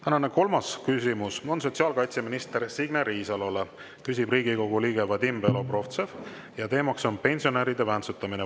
Tänane kolmas küsimus on sotsiaalkaitseminister Signe Riisalole, küsib Riigikogu liige Vadim Belobrovtsev ja teema on pensionäride väntsutamine.